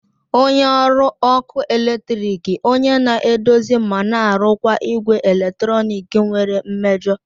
onye ọrụ ọkụ eletrik onye na-edozi ma na-arụkwa igwe eletrọnịkị nwere mmejọ